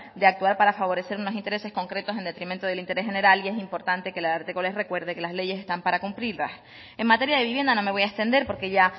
de actuar para favorecer unos intereses concretos en detenimiento del interés general y es importante que el ararteko les recuerdo que las leyes están para cumplirlas en materia de vivienda no me voy a extender porque ya